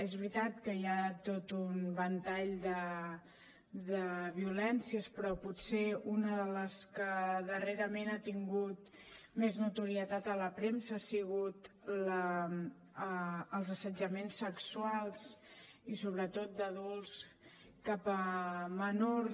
és veritat que hi ha tot un ventall de violències però potser una de les que darrerament ha tingut més notorietat a la premsa han sigut els assetjaments sexuals i sobretot d’adults cap a menors